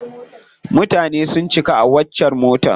Mutane sun cika a waccar motar.